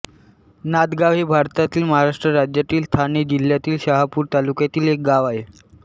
नादगाव हे भारतातील महाराष्ट्र राज्यातील ठाणे जिल्ह्यातील शहापूर तालुक्यातील एक गाव आहे